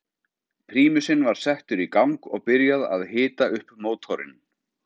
Prímusinn var settur í gang og byrjað að hita upp mótorinn.